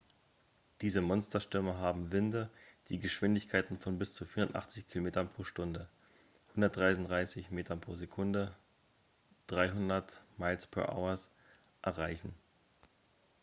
diese monsterstürme haben winde die geschwindigkeiten von bis zu 480 km/h 133 m/s; 300 mph erreichen